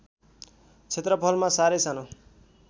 क्षेत्रफलमा सारै सानो